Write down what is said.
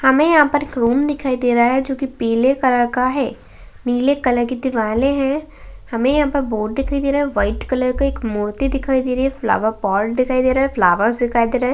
हमें यहाँं पर एक रूम दिखाई दे रहा है जो कि पीले कलर का है। नीले कलर की दिवाले हैं। हमें यहाँं पे बोर्ड दिखाई दे रहा है। व्हाइट कलर का एक मोती दिखाई दे रही है। फ्लावर पॉट दिखाई दे रहा है। फ्लावर्स दिखाई दे रहे हैं।